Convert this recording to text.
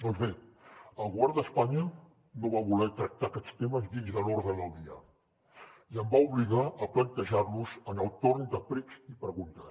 doncs bé el govern d’espanya no va voler tractar aquests temes dins de l’ordre del dia i em va obligar a plantejar los en el torn de precs i preguntes